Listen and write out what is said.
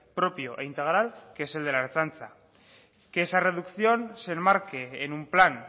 propio e integral que es el de la ertzaintza que esa reducción se enmarque en un plan